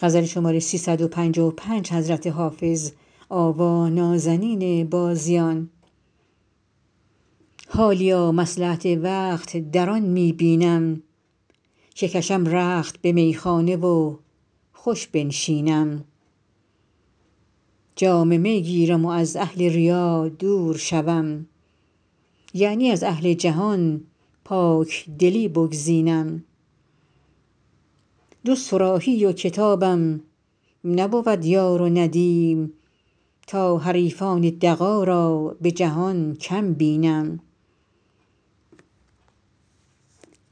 حالیا مصلحت وقت در آن می بینم که کشم رخت به میخانه و خوش بنشینم جام می گیرم و از اهل ریا دور شوم یعنی از اهل جهان پاکدلی بگزینم جز صراحی و کتابم نبود یار و ندیم تا حریفان دغا را به جهان کم بینم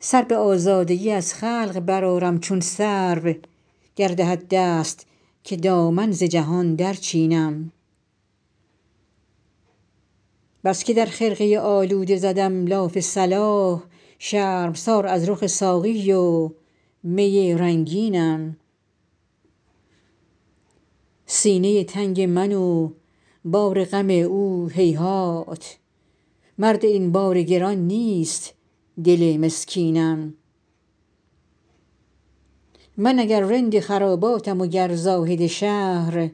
سر به آزادگی از خلق برآرم چون سرو گر دهد دست که دامن ز جهان درچینم بس که در خرقه آلوده زدم لاف صلاح شرمسار از رخ ساقی و می رنگینم سینه تنگ من و بار غم او هیهات مرد این بار گران نیست دل مسکینم من اگر رند خراباتم و گر زاهد شهر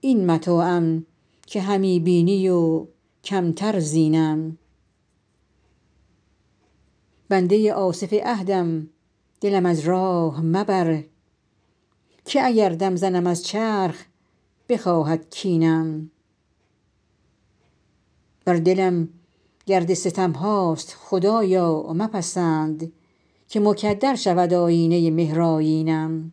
این متاعم که همی بینی و کمتر زینم بنده آصف عهدم دلم از راه مبر که اگر دم زنم از چرخ بخواهد کینم بر دلم گرد ستم هاست خدایا مپسند که مکدر شود آیینه مهرآیینم